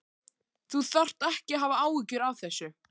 Þú þarft ekki að hafa áhyggjur af þessu.